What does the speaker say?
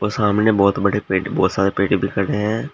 सामने बहुत बड़े पेट बहोत पेट दिख रहे है।